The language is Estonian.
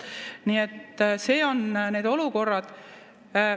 Nii et need on need olukorrad.